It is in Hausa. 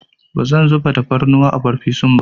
Bazan zuba tafarnuwa a farfesun ba.